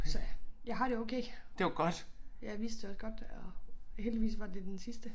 Så jeg har det okay. Jeg vidste jo også godt og heldigvis var det den sidste